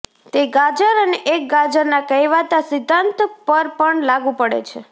તે ગાજર અને એક ગાજરના કહેવાતા સિદ્ધાંત પર પણ લાગુ પડે છે